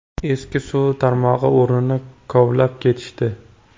Eski suv tarmog‘i o‘rnini kovlab ketishdi.